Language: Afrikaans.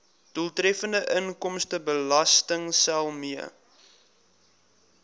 doeltreffende inkomstebelastingstelsel mee